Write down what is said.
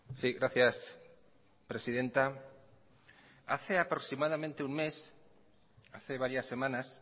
sí gracias presidenta hace aproximadamente un mes hace varias semanas